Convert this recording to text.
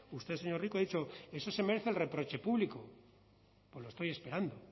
usted señor rico ha dicho eso se merece el reproche público pues lo estoy esperando